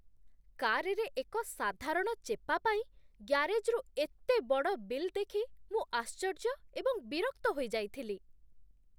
କାର୍‌ରେ ଏକ ସାଧାରଣ ଚେପା ପାଇଁ ଗ୍ୟାରେଜ୍‌ରୁ ଏତେ ବଡ଼ ବିଲ୍ ଦେଖି ମୁଁ ଆଶ୍ଚର୍ଯ୍ୟ ଏବଂ ବିରକ୍ତ ହୋଇଯାଇଥିଲି।